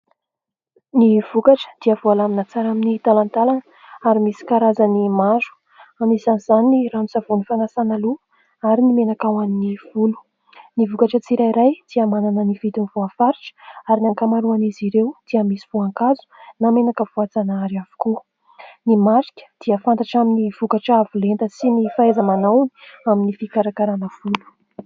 Ny vokatra dia voalamina tsara amin'ny talantalana, ary misy karazany maro : anisan'izany ny ranon-tsavony fanasana loha, ary ny menaka ho an'ny volo. Ny vokatra tsirairay dia manana ny vidiny voafaritra. Ary ny ankamaroan'izy ireo dia misy voankazo, na menaka voajanahary avokoka. Ny marika dia fantatra amin'ny vokatra avo lenta sy ny fahaiza-manao amin'ny fikarakarana ny volo.